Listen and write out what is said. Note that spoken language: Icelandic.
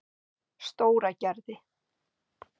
Stóragerði